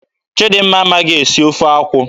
Chidimma amaghị esi ofe akwụ.